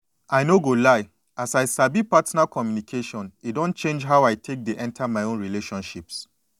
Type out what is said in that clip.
i no go lie as i sabi partner communication e don change how i take dey enter my own relationships